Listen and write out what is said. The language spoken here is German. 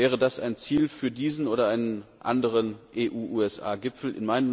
Wäre das ein Ziel für diesen oder einen anderen EU USA Gipfel?